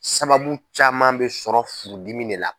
Sababu caman bɛ sɔrɔ furudimi de la.